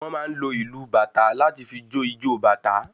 Wọn máa ń lò ìlu bàtá láti fí jo ìjọ bàtá